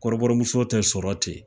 Kɔrɔbɔrɔmuso tɛ sɔrɔ ten